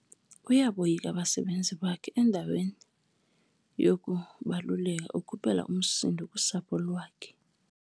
Uyaboyika abasebenzi bakhe endaweni yokubaluleka ukhuphela umsindo kusapho lwakhe.